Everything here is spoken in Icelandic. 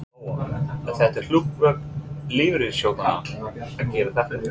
Lóa: Er þetta hlutverk lífeyrissjóðanna að gera þetta?